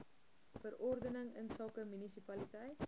verordening insake munisipaliteit